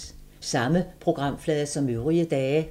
Samme programflade som øvrige dage